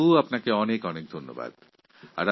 দিলীপজী আপনাকে অনেক অনেক ধন্যবাদ